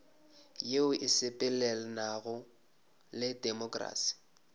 yeo e sepelelanago le temokrasi